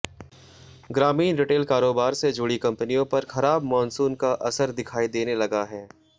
ग्रामीण रिटेल कारोबार से जुड़ी कंपनियों पर खराब मॉनसून का असर दिखाई देने लगा है